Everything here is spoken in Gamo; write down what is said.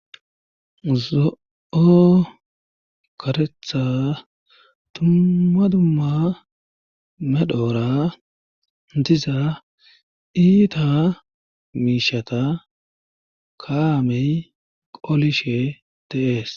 Zo,o karetha tuma dumma medhoora diza iita miishata kaamey qolishe teees